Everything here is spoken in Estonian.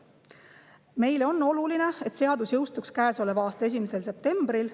Meile on oluline, et seadus jõustuks käesoleva aasta 1. septembril.